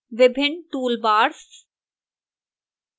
विभिन्न toolbars